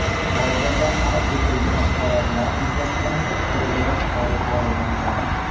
Hozirda qayd etilgan holatlar yuzasidan tergov olib borilmoqda.